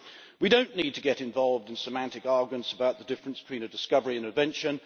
We do not need to get involved in semantic arguments about the difference between a discovery and an invention.